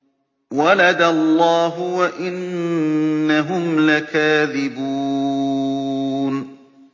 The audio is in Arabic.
وَلَدَ اللَّهُ وَإِنَّهُمْ لَكَاذِبُونَ